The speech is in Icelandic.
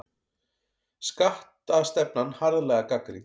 Skattastefnan harðlega gagnrýnd